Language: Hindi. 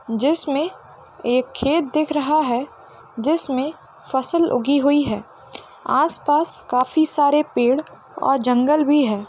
जिसमें एक खेत देख रहा है जिसमें फसल उगी हुई है आस-पास काफी सारे पेड़ और जंगल भी है।